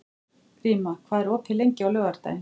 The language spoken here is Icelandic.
Gríma, hvað er opið lengi á laugardaginn?